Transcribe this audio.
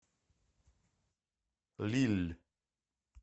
лилль